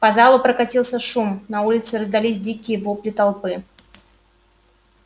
по залу прокатился шум на улице раздались дикие вопли толпы